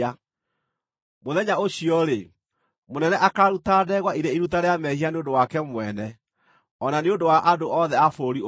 Mũthenya ũcio-rĩ, mũnene akaaruta ndegwa irĩ iruta rĩa mehia nĩ ũndũ wake mwene, o na nĩ ũndũ wa andũ othe a bũrũri ũcio.